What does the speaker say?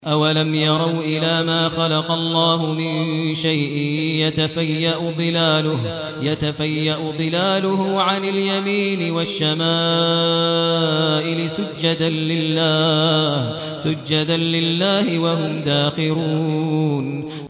أَوَلَمْ يَرَوْا إِلَىٰ مَا خَلَقَ اللَّهُ مِن شَيْءٍ يَتَفَيَّأُ ظِلَالُهُ عَنِ الْيَمِينِ وَالشَّمَائِلِ سُجَّدًا لِّلَّهِ وَهُمْ دَاخِرُونَ